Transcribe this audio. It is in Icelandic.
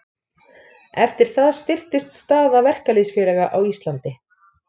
Eftir það styrktist staða verkalýðsfélaga á Íslandi.